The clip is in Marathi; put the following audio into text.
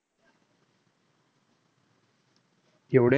एवढे